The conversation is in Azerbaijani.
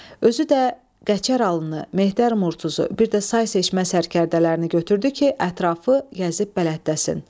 Özü də Qəçər alını, Mehter Murtuzu, bir də say seçmə sərgərdələrini götürdü ki, ətrafı gəzib bələddəsin.